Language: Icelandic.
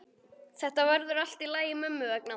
Þetta verður allt í lagi mömmu vegna.